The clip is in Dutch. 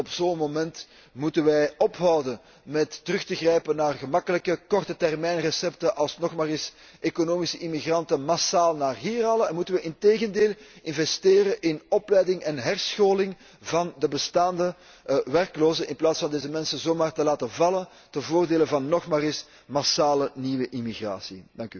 Juist op zo'n moment moeten wij ophouden met terug te grijpen naar gemakkelijker kortetermijnrecepten zoals nog maar eens economische immigranten massaal naar hier halen, en moeten we integendeel investeren in opleiding en herscholing van de bestaande werklozen, in plaats van deze mensen zomaar te laten vallen ten voordele van een massale nieuwe immigratie.